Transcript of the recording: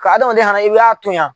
Ka hadamaden i b'a tɔnyan